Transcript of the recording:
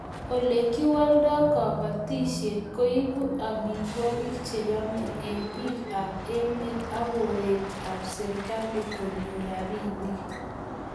Ole kiwaldoi kabatishet koibu amitwog'ik che yemei eng' biik ab emet akooret ab serikali konyor rabinik